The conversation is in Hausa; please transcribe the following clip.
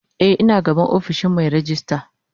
Eh ina gaban ofishin Mai rejista.